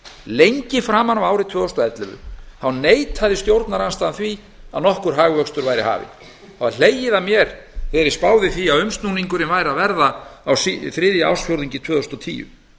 lengi framan af ári tvö þúsund og ellefu neitað stjórnarandstaðan því að nokkur hagvöxtur væri hafinn það var hlegið að mér þegar ég spáði því að umsnúningurinn væri að verða á þriðja ársfjórðungi tvö þúsund og tíu